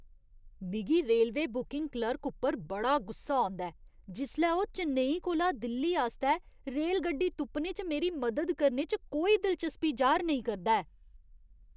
मिगी railway booking clerk उप्पर बड़ा गुस्सा औंदा ऐ जिसलै ओह् चेन्नई कोला दिल्ली आस्तै रेलगड्डी तुप्पने च मेरी मदद करने च कोई दिलचस्पी जाह्‌र नेईं करदा ऐ।